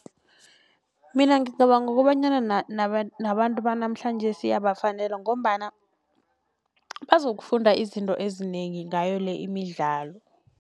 Mina ngicabanga kobanyana nabantu banamhlanjesi iyabafanela ngombana bazokufunda izinto ezinengi ngayo le imidlalo.